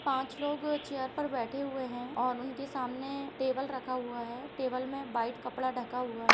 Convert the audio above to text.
पाँच लोग चेयर पर बैठे हुए है और उनके सामने टेबल रखा हुआ है टेबल में वाइट कपड़ा ढका हुआ है।